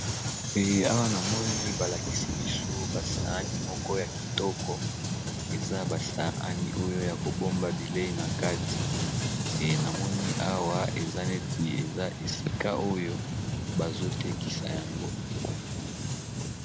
Awa namoni balakisi biso ba sahani moko ya yakitoko eza ba sahani oyo Yako bomba bileyi nakati namoni Awa eza neti bazo tekisa yango.